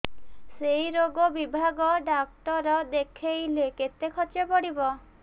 ସେଇ ରୋଗ ବିଭାଗ ଡ଼ାକ୍ତର ଦେଖେଇଲେ କେତେ ଖର୍ଚ୍ଚ ପଡିବ